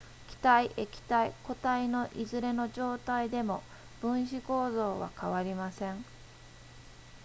気体液体固体のいずれの状態でも分子構造は変わりません